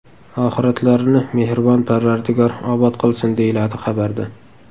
Oxiratlarini mehribon Parvardigor obod qilsin”, deyiladi xabarda.